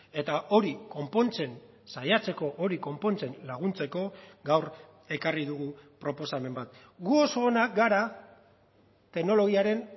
eta hori konpontzen saiatzeko hori konpontzen laguntzeko gaur ekarri dugu proposamen bat gu oso onak gara teknologiaren